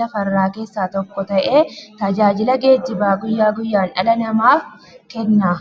lafarraa keessaa tokko ta'ee, tajaajila geejjibaa guyyaa guyyaan dhala namaaf kenna.